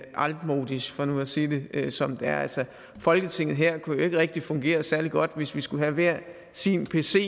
altmodisch for nu at sige det som det er altså folketinget her kunne jo ikke rigtig fungere særlig godt hvis vi skulle have hver sin pc